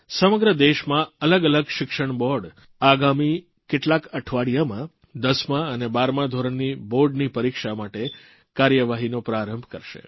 સમગ્ર દેશમાં અલગ અલગ શિક્ષણબોર્ડ આગામી કેટલાક અઠવાડિયામાં 10મા અને 12મા ધોરણની બોર્ડની પરીક્ષા માટે કાર્યવાહીનો પ્રારંભ કરશે